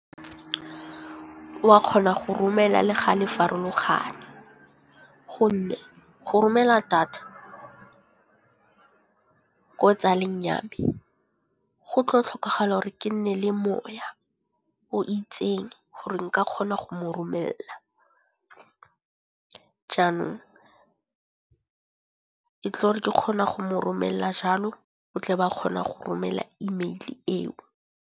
Wa kgona go romela le ga le farologane, gonne go romela data ko tsaleng ya me go tlo tlhokagala gore ke nne le moya o itseng gore nka kgona go mo romela. Jaanong e tlo gore ke kgona go mo romela jalo o tle be a kgona go romela email eo.